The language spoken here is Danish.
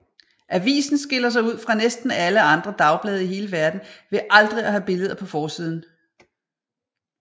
Avisen skiller sig ud fra næsten alle andre dagblade i hele verden ved aldrig at have billeder på forsiden